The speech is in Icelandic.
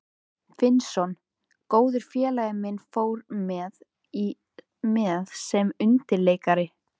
Finnsson, góður félagi minn, fór með sem undirleikari.